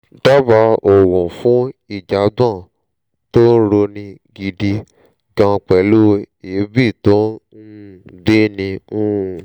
dábàá òògùn fún ìjàgbọ̀n tó ń roni gidi gan pẹ̀lú èébì tó ń um gbéni um